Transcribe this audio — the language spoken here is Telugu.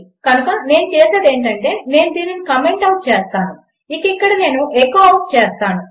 కనుక నేను చేసేది ఏమిటంటే నేను దీనిని కామెంట్ ఔట్ చేస్తాను ఇక ఇక్కడ నేను ఎఖో ఔట్ చేస్తాను